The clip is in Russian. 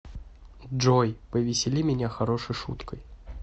джой повесели меня хорошей шуткой